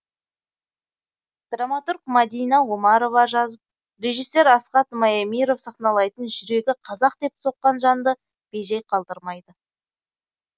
драматург мадина омарова жазып режиссер асхат маемиров сахналайтын жүрегі қазақ деп соққан жанды бей жай қалдырмайды